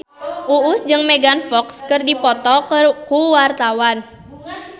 Uus jeung Megan Fox keur dipoto ku wartawan